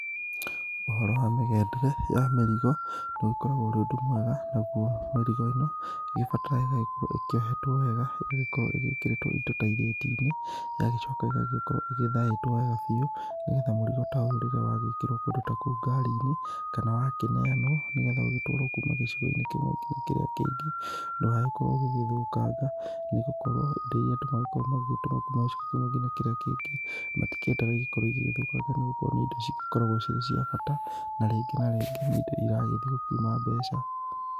Ũhoro wa mĩgendere ya mĩrigo ũrĩgĩkoragwo ũrĩ ũndũ mwega. Naguo mĩrigo ĩno ĩgĩbataraga ĩgagĩkorwo ĩkĩohetwo wega ĩgagĩ korwo ĩgĩkĩrĩtwo indo ta irĩti-inĩ ĩgagĩkorow ĩgĩthaĩtwo wega biũ nĩgetha mũrigo ta ũyũ rĩrĩa wa gĩkĩrwo kũndũ ta kũu ngari-inĩ kana wakĩ neanwo nĩ getha ũgĩtwaro kuma gĩcigo-inĩ kĩmwe ngina kĩrĩa kĩngĩ ndũgagĩkorwo ũgĩgĩthũkanga, nĩgũkorwo indo iria andũ magĩkoragwo magĩ tũma kuma gĩcigo-inĩ kĩmwe ngina kĩrĩa kĩngĩ matikĩendaga ikorwo igĩthũkanga nĩgũkorwo nĩ indo cigĩ koragwo cicia bata na rĩngĩ na rĩngĩ nĩ indo iragĩthi gũkiuma mbeca.